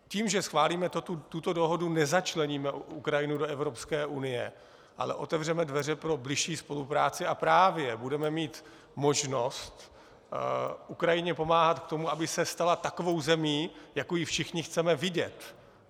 Tím, že schválíme tuto dohodu, nezačleníme Ukrajinu do Evropské unie, ale otevřeme dveře pro bližší spolupráci a právě budeme mít možnost Ukrajině pomáhat k tomu, aby se stala takovou zemí, jakou ji všichni chceme vidět.